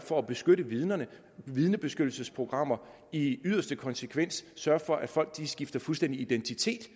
for at beskytte vidner med vidnebeskyttelsesprogrammer i yderste konsekvens sørge for at folk skifter fuldstændig identitet